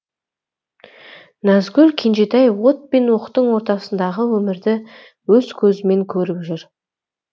назгүл кенжетай от пен оқтың ортасындағы өмірді өз көзімен көріп жүр